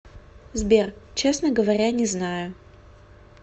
сбер честно говоря не знаю